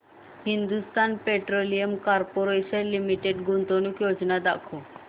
Hindustan petroleum corporation limited गुंतवणूक योजना दाखव